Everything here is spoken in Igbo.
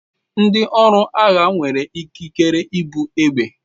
Ndi ọrụ agha nwere ikikere ibu egbe.